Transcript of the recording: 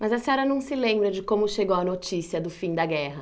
Mas a senhora não se lembra de como chegou a notícia do fim da guerra?